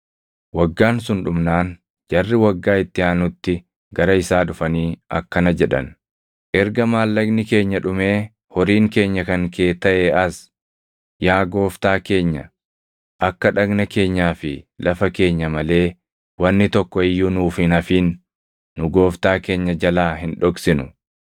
Waggaan sun dhumnaan jarri waggaa itti aanutti gara isaa dhufanii akkana jedhan; “Erga maallaqni keenya dhumee horiin keenya kan kee taʼee as, yaa gooftaa keenya akka dhagna keenyaa fi lafa keenya malee wanni tokko iyyuu nuuf hin hafin nu gooftaa keenya jalaa hin dhoksinu.